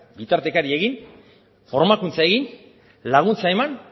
bitartekari egin formakuntza egin laguntza eman